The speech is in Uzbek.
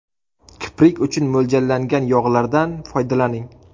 Kiprik uchun mo‘ljallangan yog‘lardan foydalaning.